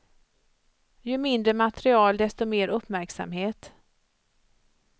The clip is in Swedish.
Ju mindre material desto mer uppmärksamhet.